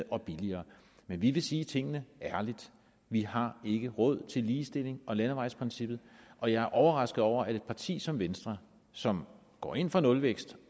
og billigere men vi vil sige tingene ærligt vi har ikke råd til ligestilling og til landevejsprincippet og jeg er overrasket over at et parti som venstre som går ind for nulvækst